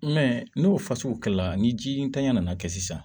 n'o fasugukɛla ni ji ntanya nana kɛ sisan